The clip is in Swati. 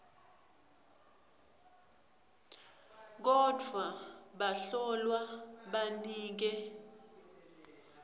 kodvwa bahlolwa banike